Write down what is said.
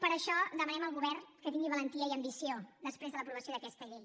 per això demanem al govern que tingui valentia i ambició després de l’aprovació d’aquesta llei